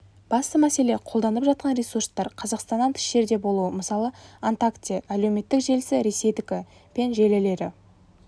басты мәселе қолданылып жатқан ресурстар қазақстаннан тыс жерде болуы мысалы онтакте әлеуметтік желісі ресейдікі пен желілері